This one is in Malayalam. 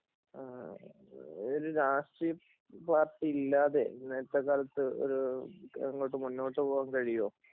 ഒരു രാഷ്ട്രീയ പാർട്ടിയില്ലാതെ ഇന്നത്തെ കാലത്ത് മുന്നോട്ട് പോകാൻ കഴിയോ